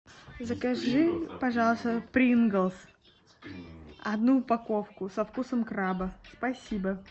закажи пожалуйста принглс одну упаковку со вкусом краба спасибо